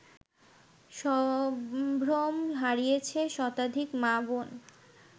সম্ভ্রম হারিয়েছে শতাধিক মা-বোন